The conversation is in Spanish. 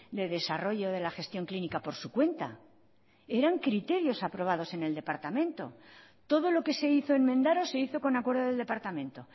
de desarrollo de la gestión clínica por su cuenta eran criterios aprobados en el departamento todo lo que se hizo en mendaro se hizo con acuerdo del departamento